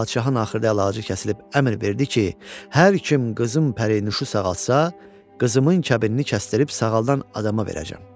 Padşahın axırı əlacı kəsilib əmr verdi ki, hər kim qızım pərinüşü sağaltsa, qızımın kəbinini kəsdirib sağaldan adama verəcəm.